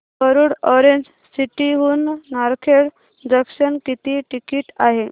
Warud Orange City हून Narkhed junction किती ticket आहे